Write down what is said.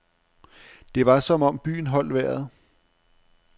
Det var som om byen holdt vejret.